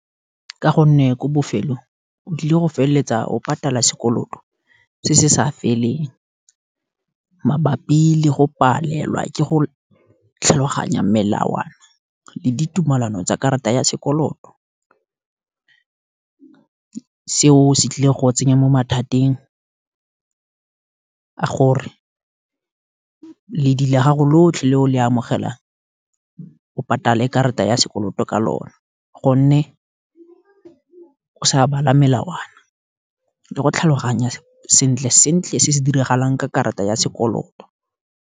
Ka gonne ko bofelong o tlile go feleletsa o patala sekoloto se se sa feleng, mabapi le go palelwa ke go tlhaloganya melawana, le ditumalano tsa karata ya sekoloto, seo se tlile go tsenya mo mathateng a gore, ledi la gago lotlhe le o le amogelang, o patale karata ya sekoloto ka lone, gonne, o sa bala melawana, le go tlhaloganya sentle sentle se se diragalang ka karata ya sekoloto.